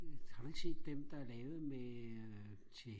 har du ikke set dem der er levet med øh til